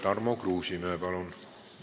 Tarmo Kruusimäe, palun!